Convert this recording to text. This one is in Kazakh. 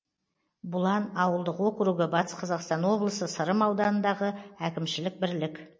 бұлан ауылдық округі батыс қазақстан облысы сырым ауданындағы әкімшілік бірлік